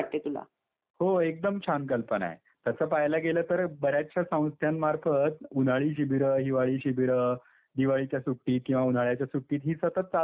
हो एकदम छान कल्पना आहे तसं पाहायला गेलं तर बऱ्याचशा संस्थांमार्फत उन्हाळी शिबिरा हिवाळी शिबिर दिवाळीच्या सुट्टीत या हिवाळ्याच्या सुट्टीत ही सतत चालूच असतात.